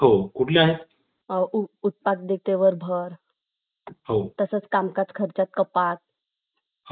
पण किती एक असे असतात की त्यांना त्या project विषयी पटकन समजत सुद्धा नाही त्यामुळे हा तोटा आहे